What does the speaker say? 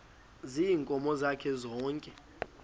ziinkomo zakhe zonke